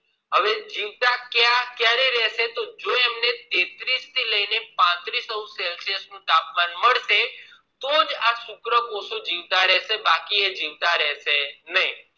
હવે જીવતા કયારે રેહશે તોએમને જીવતા કયારે રેહશે તેને પાંત્રીશ તાપમાન મળશે તોજ આ શુક્રકોષો જીવતા રેહશે બાકી જીવતા રહશે નહિ